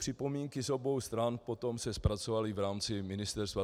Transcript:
Připomínky z obou stran se potom zpracovaly v rámci ministerstva.